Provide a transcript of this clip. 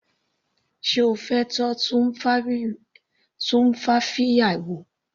Sé O fẹ́ tọ́ tumfafiya wò.